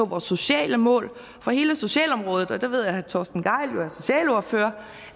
vores sociale mål for hele socialområdet og jeg ved at herre torsten gejl er socialordfører